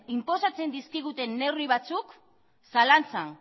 inposatzen dizkiguten neurri batzuk zalantzan